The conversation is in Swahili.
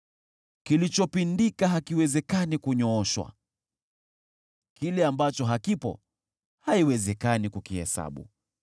Kilichopindika hakiwezi kunyooshwa, kile ambacho hakipo haiwezekani kukihesabu.